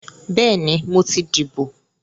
Bẹ́ẹ̀ni, mo ti dìbò